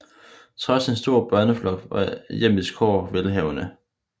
Trods en stor børneflok var hjemmets kår velhavende